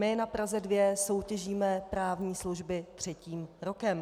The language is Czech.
My na Praze 2 soutěžíme právní služby třetím rokem.